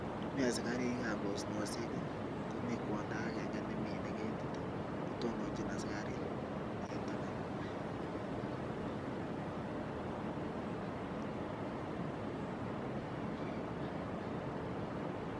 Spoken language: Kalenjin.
Mii asikarikab osnoshek komii kwondo akenge nemine ketit kotononchin asikarik en taban.